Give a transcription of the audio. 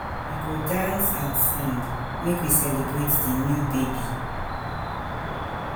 We go dance and sing, make we celebrate di new baby.